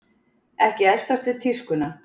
Ekki eltast við tískuna